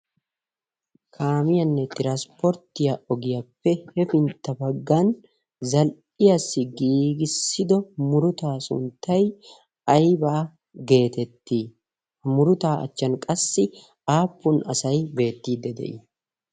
kaamiyaanne xiranspporttiya ogiyaappe hefintta baggan zal"iyaassi giigissido murutaa sunttay aybaa geetettii? ha murutaa achchan qassi aappun asai beettiidde de'ii?